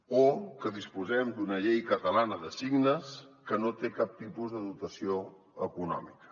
o que disposem d’una llei catalana de signes que no té cap tipus de dotació econòmica